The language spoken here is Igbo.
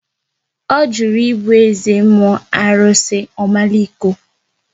Ọ jụrụ ibu eze mmụọ arụsị Omaliko